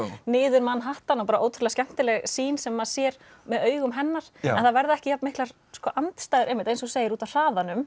niður Manhattan og ótrúlega skemmtileg sýn sem maður sér með augum hennar en það verða ekki jafn miklar andstæður einmitt eins og þú segir út af hraðanum